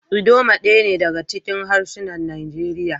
Idoma daya ne daga cikin harsunan Najeriya.